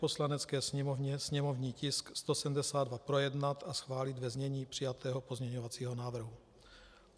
Poslanecké sněmovně sněmovní tisk 172 projednat a schválit ve znění přijatého pozměňovacího návrhu.